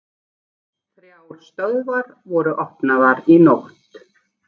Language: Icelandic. Þrjár stöðvar voru opnaðar í nótt